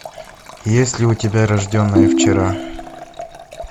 есть ли у тебя рожденная вчера